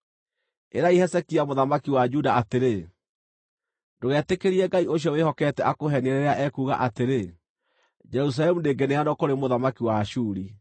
“Ĩrai Hezekia mũthamaki wa Juda atĩrĩ: Ndũgetĩkĩrie Ngai ũcio wĩhokete akũheenie rĩrĩa ekuuga atĩrĩ, ‘Jerusalemu ndĩngĩneanwo kũrĩ mũthamaki wa Ashuri.’